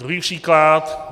Druhý příklad.